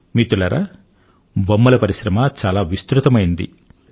మిత్రులారా బొమ్మల పరిశ్రమ చాలా విస్తృతమైంది